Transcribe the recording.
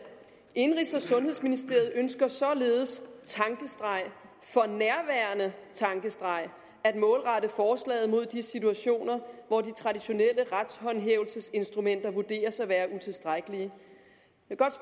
indenrigs og sundhedsministeren ønsker således for nærværende at målrette forslaget mod de situationer hvor de traditionelle retshåndhævelsesinstrumenter vurderes at være utilstrækkelige